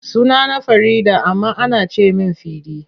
Sunana Farida amma ana ce min Fidi.